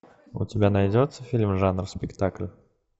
у тебя найдется фильм жанр спектакль